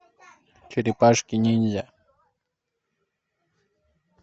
черепашки ниндзя